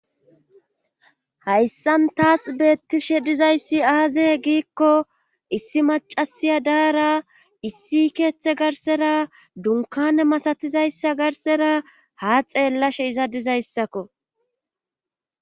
hayssan taas beettishe dizayssi aaze giikko issi macasiya daara issi keeththe garsera dunkane masatizayssa garsera ha xeellashe izadizayssakko